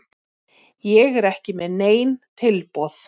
Ég er ekki með nein tilboð.